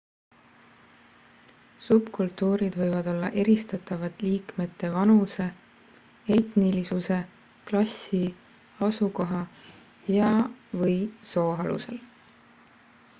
subkultuurid võivad olla eristatavad liikmete vanuse etnilisuse klassi asukoha ja/või soo alusel